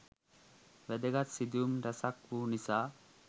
වැදගත් සිදුවීම් රැසක් වූ නිසා